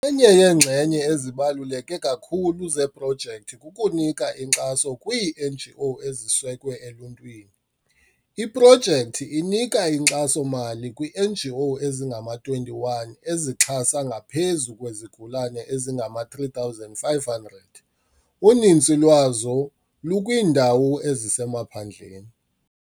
Enye yeenxenye ezibaluleke kakhulu zeprojekthi kukunika inkxaso kwii-NGO ezisekwe eluntwini. Iprojekthi inika inkxaso-mali kwii-NGO ezingama-21 ezixhase ngaphezu kwezigulana ezingama-3500, uninzi lwazo lukwiindawo ezisemaphandleni.